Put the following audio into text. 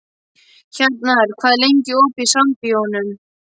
Hjarnar, hvað er lengi opið í Sambíóunum?